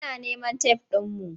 Muna neman tef ɗinmu.